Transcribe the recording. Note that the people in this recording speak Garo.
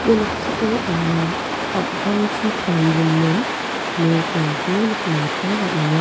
ia noksao anga am·pangchi tarigimin nokrangko nikna gita man·enga.